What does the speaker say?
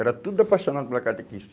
Era tudo apaixonado pela catequista.